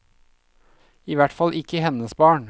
I hvert fall ikke hennes barn.